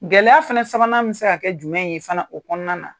Gɛlɛya fana sabanan bɛ se ka kɛ jumɛn ye fana o kɔnɔna na?